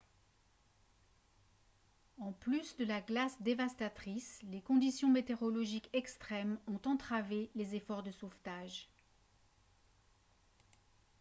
en plus de la glace dévastatrice les conditions météorologiques extrêmes ont entravé les efforts de sauvetage